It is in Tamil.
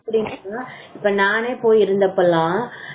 எப்டினா இப்ப நானே போய் இருந்தப்ப எல்லாம்